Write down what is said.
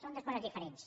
són dues coses di·ferents